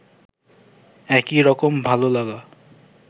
একই রকম ভালোলাগা